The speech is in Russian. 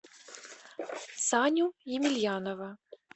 саню емельянова